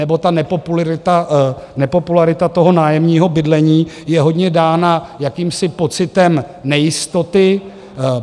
Nebo ta nepopularita toho nájemního bydlení je hodně dána jakýmsi pocitem nejistoty.